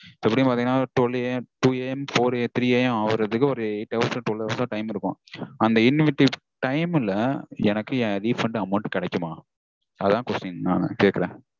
எப்படியும் பாத்தீங்கனா twelveAMtwoAMthreeAM ஆகரதுக்கு ஒரு eight hours -ஓ twelve hours -ஓ time இருக்கும். அந்த in between time -ல எனக்கு என் refund amount கெடைக்குமா? அதா question நா கேக்கறேன்